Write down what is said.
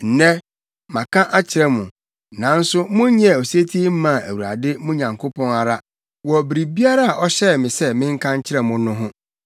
Nnɛ, maka akyerɛ mo, nanso monyɛɛ osetie mmaa Awurade mo Nyankopɔn ara wɔ biribiara a ɔhyɛɛ me sɛ menka nkyerɛ mo no ho.